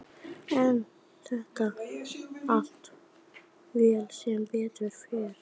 En þetta fór allt vel, sem betur fer.